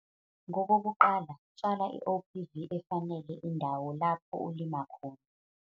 Ngokokuqala, tshala iOPV efanele indawo lapho ulima khona.